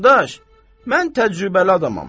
Qardaş, mən təcrübəli adamam.